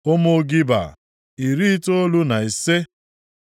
Ụmụ Giba, iri itoolu na ise (95).